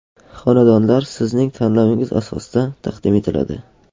Xonadonlar sizning tanlovingiz asosida taqdim etiladi.